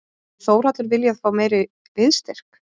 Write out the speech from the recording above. Hefði Þórhallur viljað fá meiri liðsstyrk?